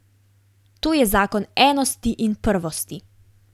To je zakon enosti in prvosti!